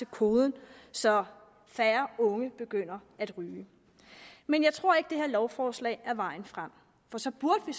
koden så færre unge begynder at ryge men jeg tror ikke at det her lovforslag er vejen frem for så burde vi